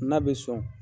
N'a bɛ sɔn